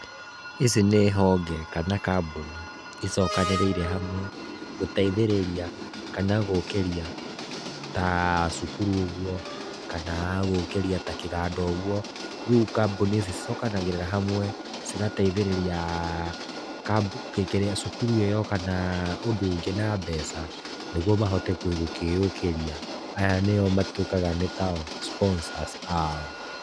Ici nĩ honge, kana kambuni, icokanĩrĩire hamwe, gũteithĩrĩria kana gũkĩria, ta cukuru ũguo, kana gũkĩria ta kĩganda ũguo. Rĩu kambuni ici, cicokanagĩrĩra hamwe, cigateithĩrĩria kĩrĩa cukuru ĩyo kana ũndũ ũngĩ na mbeca, nĩguo mahote gũkĩyũkĩria. Aya nĩo matuĩkaga nĩ tao sponsors ao.